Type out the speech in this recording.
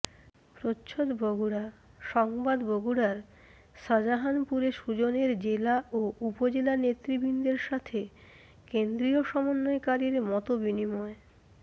প্রচ্ছদ বগুড়া সংবাদ বগুড়ার শাজাহানপুরে সুজনের জেলা ও উপজেলা নেতৃবৃন্দের সাথে কেন্দ্রিয় সমন্বয়কারীর মতবিনিময়